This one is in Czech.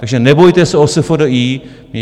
Takže nebojíte se o SFDI?